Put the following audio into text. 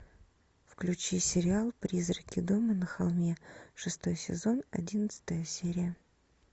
включи сериал призраки дома на холме шестой сезон одиннадцатая серия